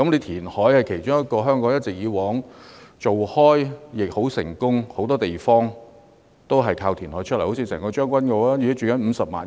填海是香港行之有效的措施，很多地方都是填海得來，例如將軍澳，該地現在居住了50萬人。